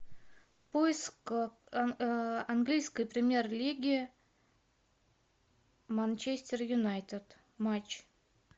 поиск английской премьер лиги манчестер юнайтед матч